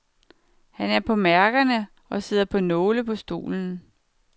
Han er på mærkerne og sidder på nåle på stolen.